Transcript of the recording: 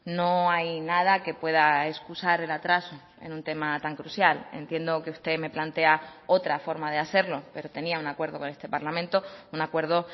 no hay nada que pueda excusar el atraso en un tema tan crucial entiendo que usted me plantea otra forma de hacerlo pero tenía un acuerdo con este parlamento un acuerdo